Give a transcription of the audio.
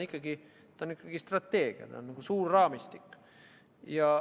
See on ikkagi strateegia, nagu suur raamistik.